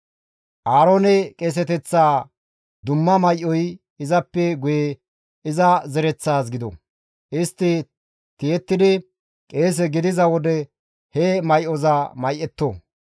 «Aaroone qeeseteththaa dumma may7oy izappe guye iza zereththaas gido; istti tiyettidi qeese gidiza wode he may7oza may7etto.